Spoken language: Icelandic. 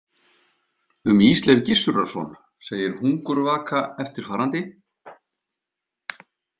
Um Ísleif Gissurarson segir Hungurvaka eftirfarandi.